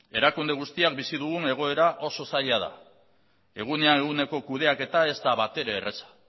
erakunde guztian bizi dugun egoera oso zaila da egunean eguneko kudeaketa ez da batere erraza